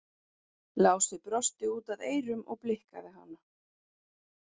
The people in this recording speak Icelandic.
Lási brosti út að eyrum og blikkaði hana.